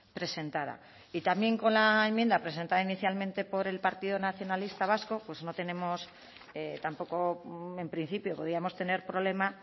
presentada y también con la enmienda presentada inicialmente por el partido nacionalista vasco pues no tenemos tampoco en principio podíamos tener problema